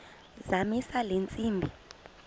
zamisa le ntsimbi